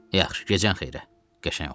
Yaxşı, gecən xeyrə, qəşəng oğlan.